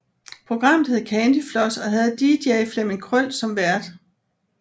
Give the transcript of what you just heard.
Programmet hed Candyfloss og havde DJ Flemming Krøll som vært